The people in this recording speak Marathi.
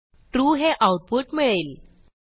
ट्रू हे आऊटपुट मिळेल